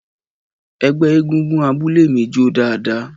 Ẹgbẹ́ egungun abúlé mi jó dáadáa